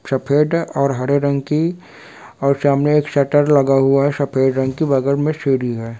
सफ़ेद और हरे रंग की और सामने एक शटर लगा हुआ है सफ़ेद रंग की बगल में सीढ़ी है।